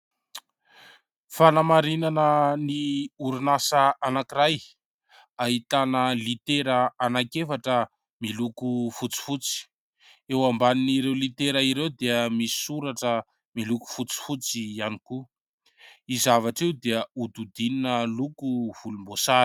Fanamarinana ny orinasa anankiray ahitana litera anankiefatra miloko fotsifotsy. Eo ambanin'ireo litera ireo dia misy soratra miloko fotsifotsy ihany koa. Io zavatra io dia hodidinina loko volomboasary.